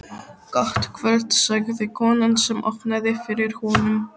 Gott kvöld sagði konan sem opnaði fyrir honum.